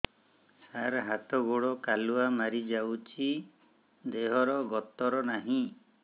ସାର ହାତ ଗୋଡ଼ କାଲୁଆ ମାରି ଯାଉଛି ଦେହର ଗତର ନାହିଁ